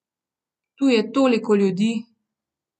Tu je toliko ljudi!